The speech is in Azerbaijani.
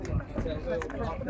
Sənə zəng gəlməsin.